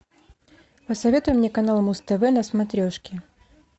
посоветуй мне канал муз тв на смотрешке